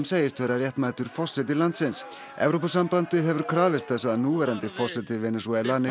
segist vera réttmætur forseti landsins Evrópusambandið hefur krafist þess að núverandi forseti Venesúela